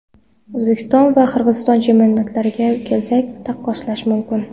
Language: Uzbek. O‘zbekiston va Qozog‘iston chempionatlariga kelsak, taqqoslash mumkin.